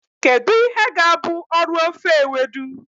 Kedu ihe ga-abụ ọrụ ofe Ewedu?